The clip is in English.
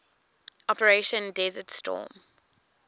operation desert storm